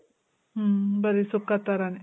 ಮ್ಮ್. ಬರಿ ಸುಕ್ಕ ತರನೇ.